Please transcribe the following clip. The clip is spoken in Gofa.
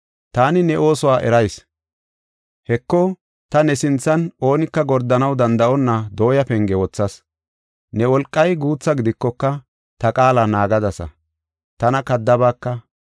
Taani ne oosuwa eras; Heko ta ne sinthan oonika gordanaw danda7onna dooya penge wothas. Ne wolqay guutha gidikoka, ta qaala naagadasa; tana kaddabaaka.